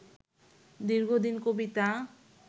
দীর্ঘদিন কবিতা